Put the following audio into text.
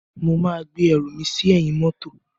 Mo máa gbé ẹrù mi sí ẹ̀yìn mọ́tò.